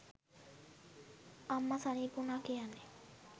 අම්ම සනීප වුණා කියන්නේ